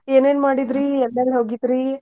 ಏನೇನ್ ಮಾಡಿದ್ರಿ ಎಲ್ಲೆಲ್ ಹೋಗಿದ್ರಿ?